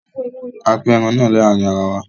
A pín ẹran náà láàrin ara wa